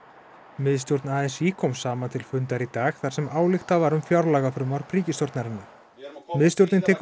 miðstjórn a s í kom saman til fundar í dag þar sem ályktað var um fjárlagafrumvarp ríkisstjórnarinnar miðstjórnin tekur